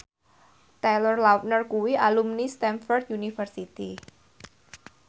Taylor Lautner kuwi alumni Stamford University